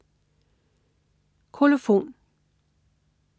Kolofon